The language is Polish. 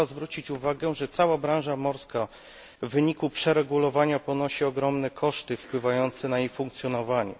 Trzeba zwrócić uwagę, że cała branża morska w wyniku przeregulowania ponosi ogromne koszty wpływające na jej funkcjonowanie.